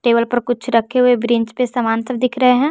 Table पर कुछ रखे हुवे ग्रिंच पे कुछ सामान दिख रहे हैं।